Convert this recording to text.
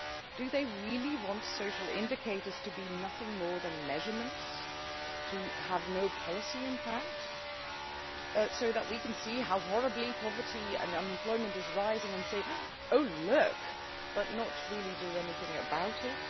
Do they really want social indicators to be nothing more than measurements to have no policy impact so that we can see how horribly poverty and unemployment are rising and we can say Oh, look' but not really do anything about it?